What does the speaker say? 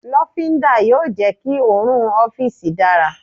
lofinda yóò jẹ ki orùn ọfiisi dara